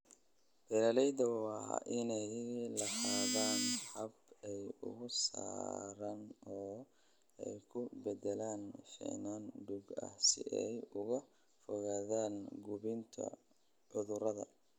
Beeralayda waa inay lahaadaan habab ay uga saaraan oo ay ku beddelaan finan duug ah si ay uga fogaadaan gudbinta cudurrada.